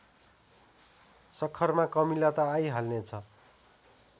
सक्खरमा कमिला त आइहाल्नेछ